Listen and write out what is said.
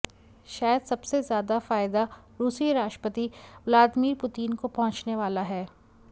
शायद सबसे ज़्यादा फ़ायदा रूसी राष्ट्रपति व्लादमीर पुतीन को पहुंचने वाला है